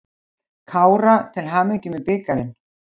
KÁRA til hamingju með bikarinn.